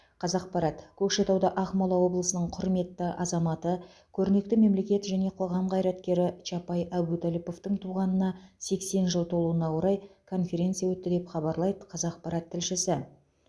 қазақпарат көкшетауда ақмола облысының құрметті азаматы көрнекті мемлекет және қоғам қайраткері чапай әбутәліповтың туғанына сексен жыл толуына орай конференция өтті деп хабарлайды қазақпарат тілшісі